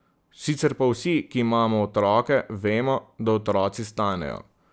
Sicer pa vsi, ki imamo otroke, vemo, da otroci stanejo.